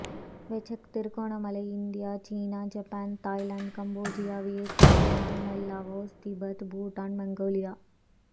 Vesak Trincomalee India சீனா Japan Thailand காம்போஜியா Vietnam Myanmar Laos Tibet Bhutan Mongolia